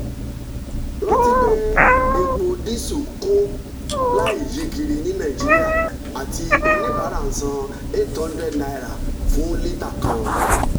rántí pé epo dísù kún láìyíkiri ní nàìjíríà àti oníbàárà ń san eight hundred naira fún lítà kan.